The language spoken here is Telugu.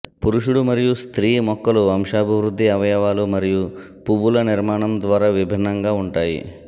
పురుషుడు మరియు స్త్రీ మొక్కలు వంశాభివృద్ధి అవయవాలు మరియు పువ్వుల నిర్మాణం ద్వారా విభిన్నంగా ఉంటాయి